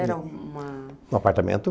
Era uma... Um apartamento.